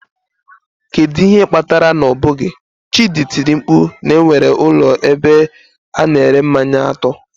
Kedu ihe kpatara na ọ bụghị, chidi tiri mkpu na nwere ụlọ ebe a na-ere mmanya atọ.